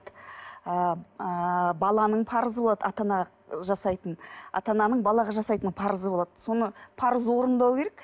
ыыы баланың парызы болады ата ана жасайтын ата ананың балаға жасайтын парызы болады соны парызды орындау керек